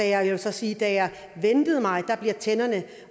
jeg vil så sige at da jeg ventede mig blev tænderne